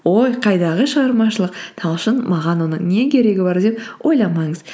ой қайдағы шығармашылық талшын маған оның не керегі бар деп ойламаңыз